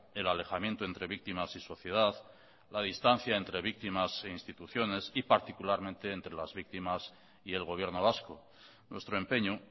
el alejamiento entre víctimas y sociedad la distancia entre víctimas e instituciones y particularmente entre las víctimas y el gobierno vasco nuestro empeño